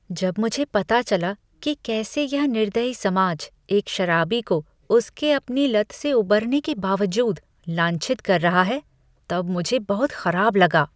जब मुझे पता चला कि कैसे यह निर्दयी समाज एक शराबी को, उसके अपनी लत से उबरने के बावजूद, लांछित कर रहा है, तब मुझे बहुत खराब लगा।